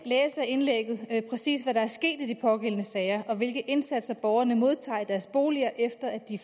indlægget præcis hvad der er sket i de pågældende sager og hvilke indsatser borgerne modtager i deres boliger efter at de